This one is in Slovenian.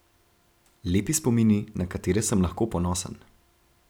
Lepi spomini, na katere sem lahko ponosen.